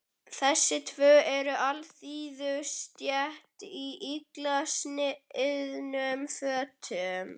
Þessi tvö eru úr alþýðustétt í illa sniðnum fötum.